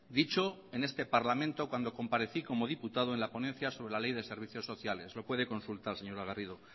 dicho en este parlamento cuando comparecí como diputado en la ponencia sobre la ley de servicios sociales lo puede consultar señora garrido